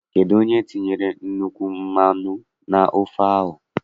Kedụ onye tinyere nnukwu mmanụ n' ofe ahụ?